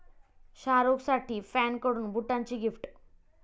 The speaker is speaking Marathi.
शाहरूखसाठी फॅनकडून बुटांची गिफ्ट